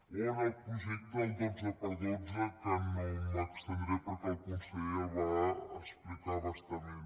o en el projecte del 12x12 que no m’hi estendré perquè el conseller ja el va explicar a bastament